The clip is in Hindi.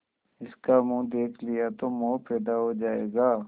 इसका मुंह देख लिया तो मोह पैदा हो जाएगा